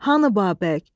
Hanı Babək?